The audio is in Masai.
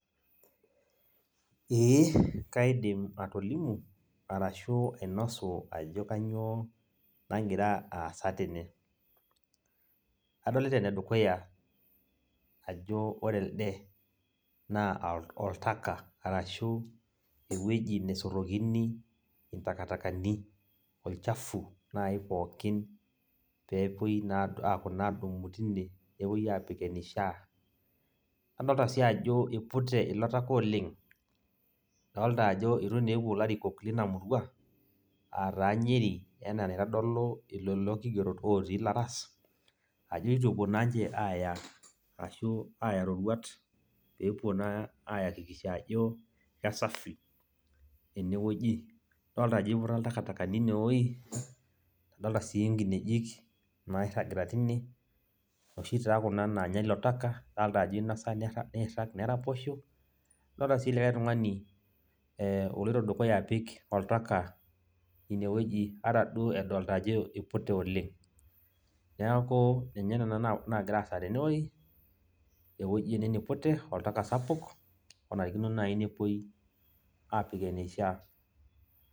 Ee kaidim atolimu arashu ainosu ajo kanyioo nagira aasa tene. Adolita enedukuya ajo ore elde, naa oltaka. Arashu ewueji nesotokini intakatakani, olchafu nai pookin pepoi naa aponu adumu tine, nepoi aapik enishaa. Adolta si ajo ipute ilo taka oleng'. Adolta ajo itu naa epuo ilarikok lina murua, ataa Nyeri, enaa enaitodolu lelo kigerot otii laras, ajo itu epuo naa nche aaya, ashu aya roruat, pepuo naa akikisha ajo, kesafi enewueji. Adolta ajo iputa intakatakani inewoi, adolta si nkinejik nairragita tine, noshi taa kuna naanya ilo taka, dolta ajo inosa niirrag, neraposho. Adolta si likae tung'ani oloito dukuya apik oltaka inewueji ata duo edolta ajo ipute oleng. Neeku ninye nena nagira aasa tenewoi, ewueji ene nipute, oltaka sapuk, onarikino nai nepoi, apik eneishaa.